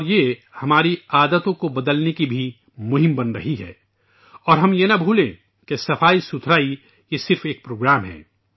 اور یہ ہماری عادات کو بدلنے کی بھی مہم بن رہی ہے اور ہمیں یہ نہیں بھولنا چاہیے کہ صفائی صرف ایک پروگرام ہے